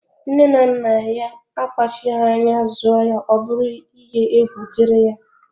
Nne na nna ya akpachaghi anya zụọ ya ọbụrụ iye egwu diri ya.